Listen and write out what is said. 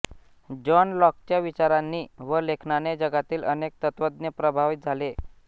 John लॉकच्या विचारांनी व लेखनाने जगातील अनेक तत्त्वज्ञ प्रभावित झाले